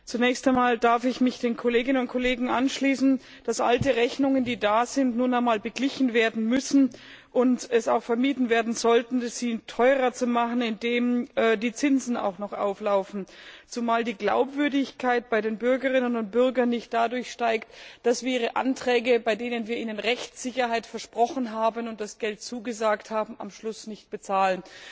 Zunächst einmal darf ich mich den Kolleginnen und Kollegen anschließen, die erklärt haben, dass alte Rechnungen, die noch offenstehen, nun einmal beglichen werden müssen und es auch vermieden werden sollte, sie teurer zu machen, indem auch noch Zinsen auflaufen, zumal die Glaubwürdigkeit bei den Bürgerinnen und Bürgern nicht dadurch steigt, dass wir ihre Anträge, bei denen wir ihnen Rechtssicherheit versprochen und das Geld zugesagt haben, am Schluss nicht bezahlen.